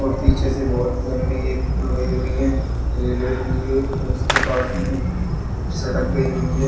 और पीछे से बहुत लंबी एक पुल गई हुई है। रेलवे के लिए और उसके पास में सड़क गई हुई है।